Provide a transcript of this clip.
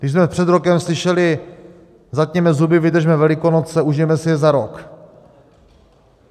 Když jsme před rokem slyšeli: Zatněme zuby, vydržme Velikonoce, užijeme si je za rok!